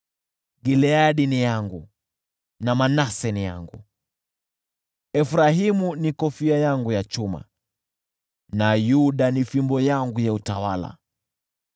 Gileadi ni yangu na Manase ni yangu; Efraimu ni kofia yangu ya chuma, nayo Yuda ni fimbo yangu ya utawala.